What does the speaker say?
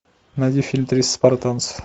найди фильм триста спартанцев